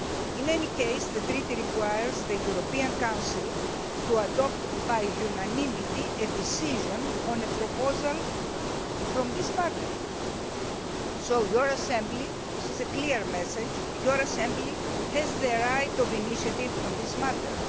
In any case, the Treaty requires the European Council to adopt by unanimity a decision on a proposal from this Parliament so your Assembly this is a clear message has the right of initiative on this matter.